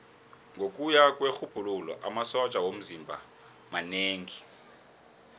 ngokuya kwerhubhululo amasotja womzimba manengi